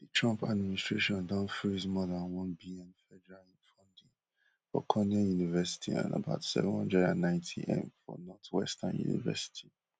di trump administration don freeze more dan onebn federal funding for cornell university and about seven hundred and ninetym for northwestern university